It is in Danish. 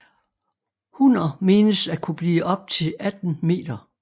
Hunner menes at kunne blive op til 18 meter